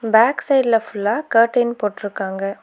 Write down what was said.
Back சைடுல ஃபுல்லா curtain போட்ருக்காங்க.